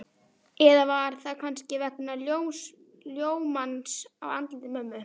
Eða var það kannski vegna ljómans á andliti mömmu?